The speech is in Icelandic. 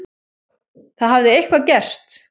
Það hafði eitthvað gerst.